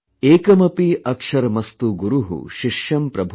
एकमपि अक्षरमस्तु गुरु शिष्यं प्रबोधयेत|